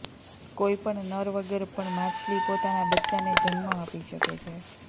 કોઈપણ નર વગર પણ માછલી પોતાના બચ્ચાને જન્મ આપી શકે છે